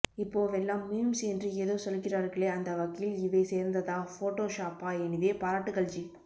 இப்போவெல்லாம் மீம்ஸ் என்று ஏதோ சொல்கிறார்களே அந்தவகையில் இவை சேர்ந்ததா ஃபோடோ ஷாப்பா எனிவே பாராட்டுகள் ஜி